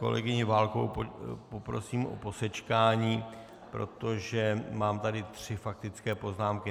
Kolegyni Válkovou poprosím o posečkání, protože tady mám tři faktické poznámky.